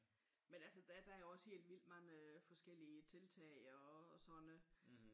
Men altså der er jo også helt vildt mange forskellige tiltag og sådan noget